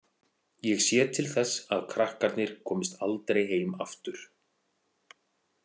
Ég sé til þess að krakkarnir komist aldrei heim aftur